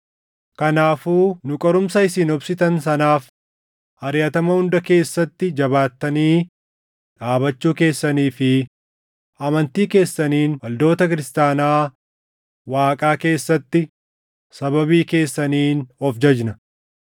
Kanaafuu nu qorumsa isin obsitan sanaaf, ariʼatama hunda keessatti jabaattanii dhaabachuu keessanii fi amantii keessaniin waldoota Kiristaanaa Waaqaa keessatti sababii keessaniin of jajna.